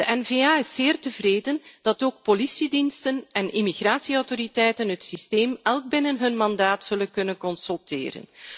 De N VA is zeer tevreden dat ook politiediensten en immigratieautoriteiten het systeem elk binnen hun mandaat zullen kunnen consulteren.